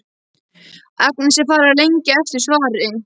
Agnesi er farið að lengja eftir svari.